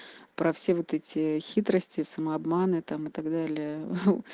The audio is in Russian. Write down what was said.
про все вот эти хитрости самообман это и так далее